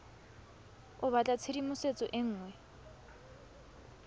o batla tshedimosetso e nngwe